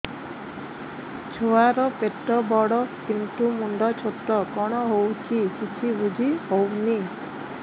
ଛୁଆର ପେଟବଡ଼ କିନ୍ତୁ ମୁଣ୍ଡ ଛୋଟ କଣ ହଉଚି କିଛି ଵୁଝିହୋଉନି